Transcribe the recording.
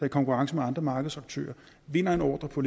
i konkurrence med andre markedsaktører vinder en ordre på